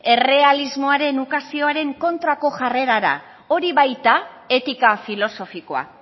errealismoaren ukazioaren kontrako jarrerara hori baita etika filosofikoa